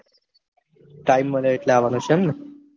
time મળે એટલે અવાનૂ છે એમને